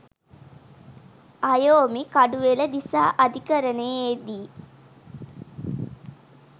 අයෝමි කඩුවෙල දිසා අධිකරණයේදී